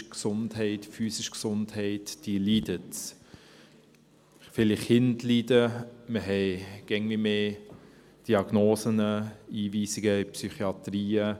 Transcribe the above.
Die psychische und physische Gesundheit leidet, viele Kinder leiden, wir haben immer mehr Diagnosen und Einweisungen in Psychiatrien.